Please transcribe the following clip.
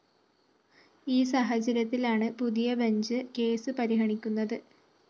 ഈ സാഹചര്യത്തിലാണ് പുതിയ ബഞ്ച് കേസ് പരിഗണിക്കുന്നത്